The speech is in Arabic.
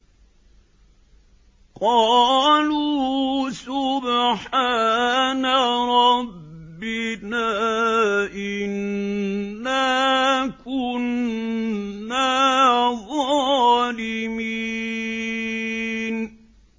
قَالُوا سُبْحَانَ رَبِّنَا إِنَّا كُنَّا ظَالِمِينَ